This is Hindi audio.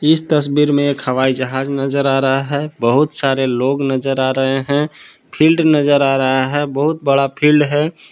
इस तस्वीर में एक हवाई जहाज नजर आ रहा है बहुत सारे लोग नजर आ रहे हैं फील्ड नजर आ रहा है बहुत बड़ा फील्ड है।